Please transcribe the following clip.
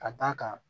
Ka d'a kan